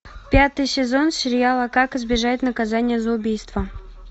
пятый сезон сериала как избежать наказания за убийство